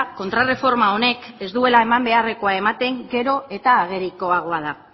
kontrarreforma honek ez duela eman beharrekoa ematen gero eta agerikoagoa da